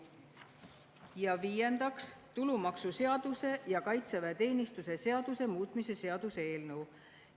Ja viiendaks, tulumaksuseaduse ja kaitseväeteenistuse seaduse muutmise seaduse eelnõu.